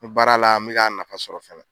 N baara la n be ka nafa sɔrɔ fɛnɛ.